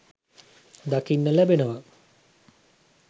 දකින්න ලැබෙනවා.